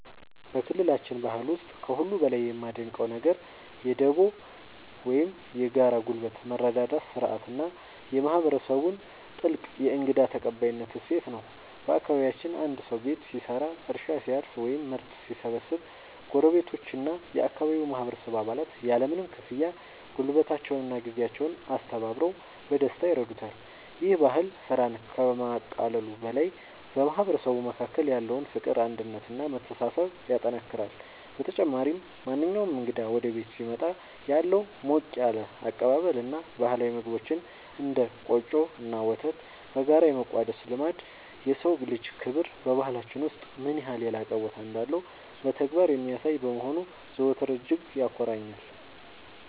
በክልላችን ባህል ውስጥ ከሁሉ በላይ የማደንቀው ነገር የ"ዱቦ" (Dubo) ወይም የጋራ ጉልበት መረዳዳት ሥርዓት እና የማህበረሰቡን ጥልቅ የእንግዳ ተቀባይነት እሴት ነው። በአካባቢያችን አንድ ሰው ቤት ሲሰራ፣ እርሻ ሲያርስ ወይም ምርት ሲሰበስብ ጎረቤቶችና የአካባቢው ማህበረሰብ አባላት ያለምንም ክፍያ ጉልበታቸውንና ጊዜያቸውን አስተባብረው በደስታ ይረዱታል። ይህ ባህል ስራን ከማቃለሉ በላይ በማህበረሰቡ መካከል ያለውን ፍቅር፣ አንድነት እና መተሳሰብ ያጠናክራል። በተጨማሪም፣ ማንኛውም እንግዳ ወደ ቤት ሲመጣ ያለው ሞቅ ያለ አቀባበል እና ባህላዊ ምግቦችን (እንደ ቆጮ እና ወተት) በጋራ የመቋደስ ልማድ፣ የሰው ልጅ ክብር በባህላችን ውስጥ ምን ያህል የላቀ ቦታ እንዳለው በተግባር የሚያሳይ በመሆኑ ዘወትር እጅግ ያኮራኛል።